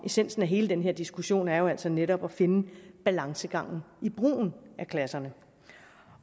essensen i hele den her diskussion er jo altså netop at finde balancegangen i brugen af klasserne